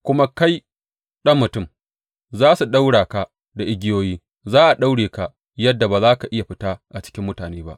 Kuma kai, ɗan mutum, za su ɗaura ka da igiyoyi; za a daure ka yadda ba za ka iya fita a cikin mutane ba.